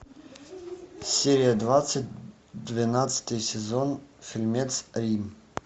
серия двадцать двенадцатый сезон фильмец рим